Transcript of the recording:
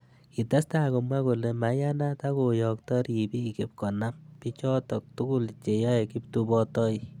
Kitestai komwa kole maiyanat ak koiyokto ribik ipkonam. bichotok tugul cheyai kiptubotoi.